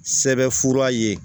Sɛbɛnfura ye